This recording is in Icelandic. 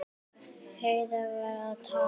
Heiða var að tala.